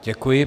Děkuji.